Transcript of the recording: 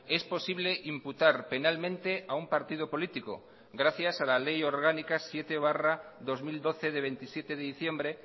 es posible imputar penalmente a un partido político gracias a la ley orgánica siete barra dos mil doce de veintisiete de diciembre